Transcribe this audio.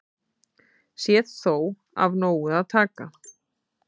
Sé þó af nógu að taka